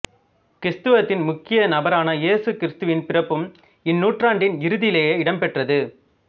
கிறித்தவத்தின் முக்கிய நபரான இயேசு கிறித்துவின் பிறப்பும் இந்நூற்றாண்டின் இறுதியிலேயே இடம்பெற்றது